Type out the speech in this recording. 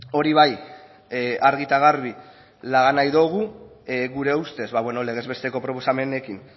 hori bai argi eta garbi laga nahi dogu gure ustez legez besteko proposamenekin